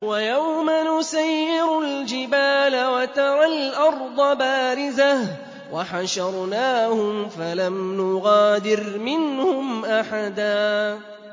وَيَوْمَ نُسَيِّرُ الْجِبَالَ وَتَرَى الْأَرْضَ بَارِزَةً وَحَشَرْنَاهُمْ فَلَمْ نُغَادِرْ مِنْهُمْ أَحَدًا